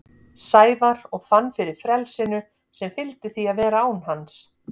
Sævar og fann fyrir frelsinu sem fylgdi því að vera án hans.